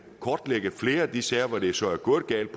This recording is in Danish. kortlægge flere af de sager hvori det så er gået galt